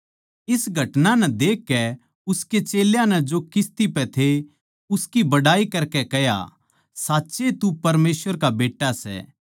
इस घटना नै देखकै उसके चेल्यां नै जो किस्ती पै थे उसकी बड़ाई करके कह्या साच्चए तू परमेसवर का बेट्टा सै